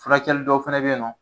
Furakɛli dɔw fɛnɛ be yen nɔ